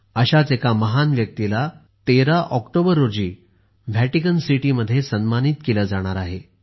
अशाच एका महान व्यक्तीला 13 ऑक्टोबर रोजी व्हॅटिकन सिटीमध्ये सन्मानित केले जाणार आहे